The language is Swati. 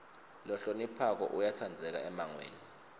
lohloniphako uyatsandzeka emmangweni